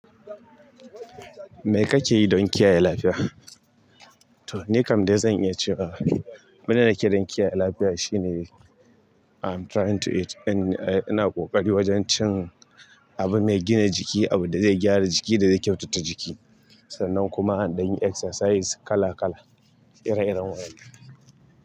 Me kake yi don kiyaye lafiya? To, ni kam dai zan iya cewa, abun da ni ke don kiyaye lafiya shine I'm trying to eat in-- eh, ina ƙoƙari wajen cin abu mai gina jiki, abun da zai gyara jiki da zai kyautata jiki. Sannan kuma in ɗan yi exercise kala kala, ire-iren waƴannan.